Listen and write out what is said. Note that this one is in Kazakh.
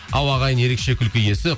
ал ағайын ерекше күлкі иесі